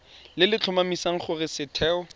le le tlhomamisang gore setheo